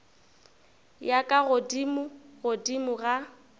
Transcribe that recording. ya ka godimo godimo ga